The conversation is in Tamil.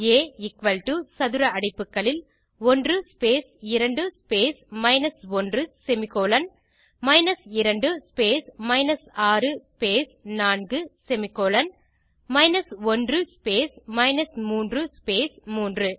ஆ சதுர அடைப்புகளில் 1 space 2 space minus 1 semicolon 2 space 6 space 4 semicolon 1 space 3 space 3